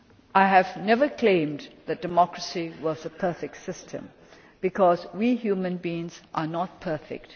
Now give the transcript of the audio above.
I have never claimed that democracy was the perfect system, because we human beings are not perfect.